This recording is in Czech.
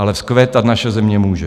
Ale vzkvétat naše země může.